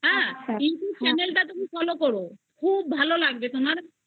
হ্যা Youtube channel এ channel টা তুমি ফলো করো খুব ভালো লাগবে তোমার শুধু